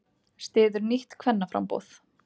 Styður nýtt kvennaframboð